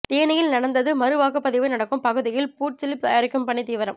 தேனியில் நடந்தது மறு வாக்குப்பதிவு நடக்கும் பகுதியில் பூத் சிலிப் தயாரிக்கும் பணி தீவிரம்